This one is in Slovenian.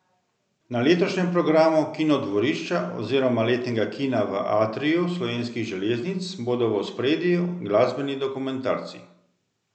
Na letošnjem programu Kinodvorišča oziroma letnega kina v atriju Slovenskih železnic bodo v ospredju glasbeni dokumentarci.